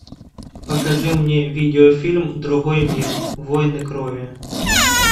покажи мне видеофильм другой мир войны крови